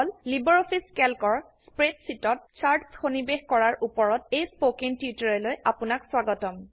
LibreOffice ক্যালকৰ স্প্ৰেডশীটত charts সন্নিবেশ কৰাৰ ওপৰত এই স্পকেন টিউটোৰিয়েললৈ আপোনাক স্বাগম